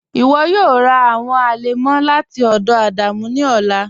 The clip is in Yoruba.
Iwọ yọọ rà awọn alẹmọ lati ọdọ Adamu ni ọlà.